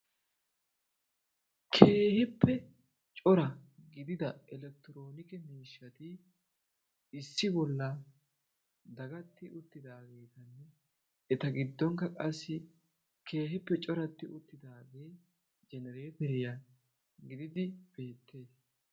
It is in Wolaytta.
Keehippe cora gidida elektiroone miishshaati issi bollan dagatti uttidaageetanne eta giddonkka qassi keehippe coratti uttidaagee jenereeteriya gididi beettees.